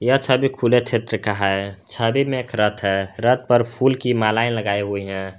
यह छबी खुले क्षेत्र का है छबि में एक रथ है रथ पर फूल की मालाएं लगाई हुई है।